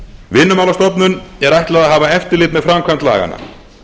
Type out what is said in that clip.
vinnumálastofnun er ætlað að hafa eftirlit með framkvæmd laganna